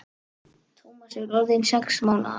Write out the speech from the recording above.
Tómas er orðinn sex mánaða.